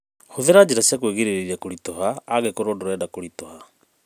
Hũthira njĩra cia kũĩrigĩrĩria kũrituha angĩkorwo ndũrenda kũritũha.